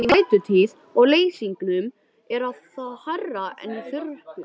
Í vætutíð og leysingum er það hærra en í þurrkum.